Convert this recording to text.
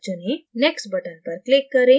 next button पर click करें